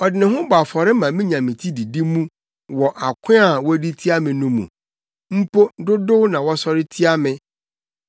Ɔde ne ho bɔ afɔre ma minya me ti didi mu wɔ ako a wodi tia me no mu, mpo dodow na wɔsɔre tia me.